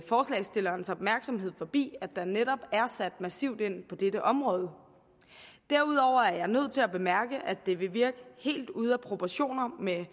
forslagsstillernes opmærksomhed forbi at der netop er sat massivt ind på dette område derudover er jeg nødt til at bemærke at det vil virke helt ude af proportioner med